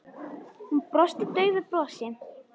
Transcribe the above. Hún brosti daufu brosi.